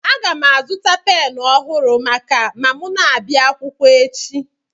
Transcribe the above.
Aga m azụta pen ọhụrụ maka ma m na-abịa akwụkwọ echi